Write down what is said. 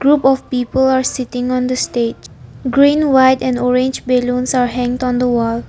Group of people are sitting on the stage green white and orange balloons are hanged on the wall.